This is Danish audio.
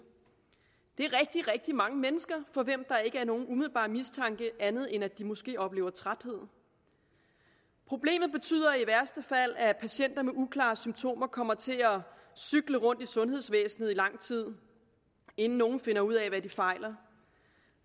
det er rigtig rigtig mange mennesker for hvem der ikke er nogen umiddelbar mistanke andet end at de måske oplever træthed problemet betyder i værste fald at patienter med uklare symptomer kommer til at cykle rundt i sundhedsvæsenet i lang tid inden nogen finder ud af hvad de fejler